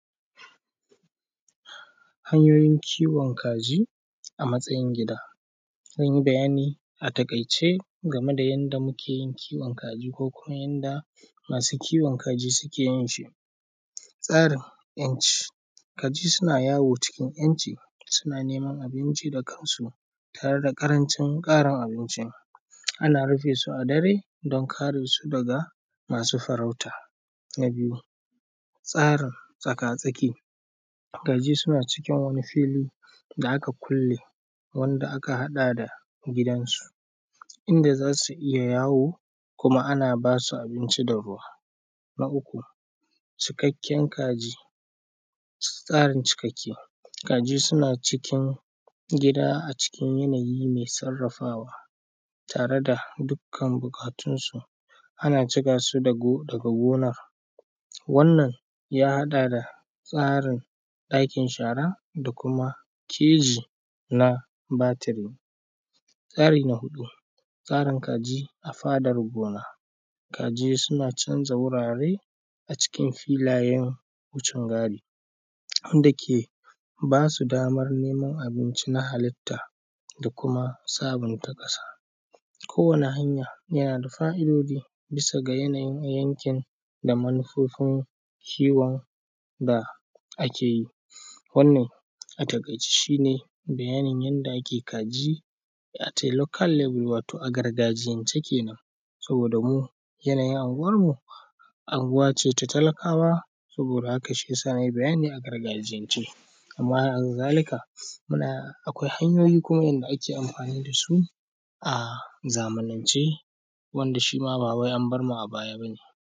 Hanyoyin kiwon kaji a matsayin gida. Zan yi bayani a taƙaice game da yanda muke kiwon kaji ko kuma yanda masu kiwon kaji suke kiwon tsarin ‘yanci kaji suna yawo cikin yanci, suna neman abinci da kansu tare da ƙarancin karawa abinci, ana rufe su a dare dan kare su daga masu farauta. Na biyu tsarin tsaka-tsaki, kaji suna cikin wani fili da aka kulle wanda aka haɗa da gidansu inda za su iya yawo kuma ana ba su abinci da ruwa, na uku cikakken kaji tsarin cikakke kaji suna cikin gida a cikin yanayi mai sarrafawa tare da dukkan buƙatunsu, ana cika su daga gonar wannan ya haɗa da tsarin aikin shara da kuma keji na batiri. Tsari na huɗu tsarin kaji a fadar gona, kaji suna canja wurare a cikin filayen wucengadi wanda ke ba su daman neman abinci na halitta da kuma samun ta ƙasa kowane hanya, yana da fa’idoji bisa ga yanayin yankin da manufofin kiwon da ake yi wannan a taƙaice shi ne yanayin yanda ake kiwon kaji local level wato a gargajiyance kenan saboda mu yanayin anguwanmu, anguwa ce ta talakawa saboda haka shi ya sa na yi bayani a gargajiyance. Amma hakazalika muma akwai hanyoyi kuma yanda ake amfani da su a zamanance wanda shi ma ba wai an bar mu a baya ba ne.